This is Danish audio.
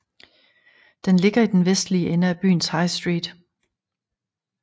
Den ligger i den vestlige ende af byens High Street